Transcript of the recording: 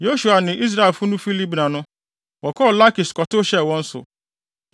Yosua ne Israelfo no fi Libna no, wɔkɔɔ Lakis kɔtow hyɛɛ wɔn so.